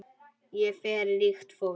Hér fer ríkt fólk.